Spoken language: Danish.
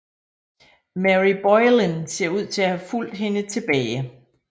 Mary Boleyn ser ud til at have fulgt hende tilbage